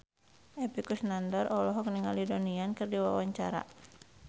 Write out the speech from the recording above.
Epy Kusnandar olohok ningali Donnie Yan keur diwawancara